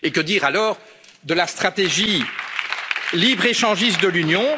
Et que dire, alors, de la stratégie libre échangiste de l'Union?